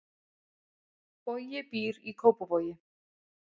Bogi býr í Kópavogi.